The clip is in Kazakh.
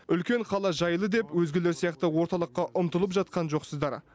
үлкен қала жайлы деп өзгелер сияқты орталыққа ұмтылып жатқан жоқсыздар